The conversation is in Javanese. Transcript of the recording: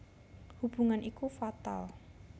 Hubungan iku fatal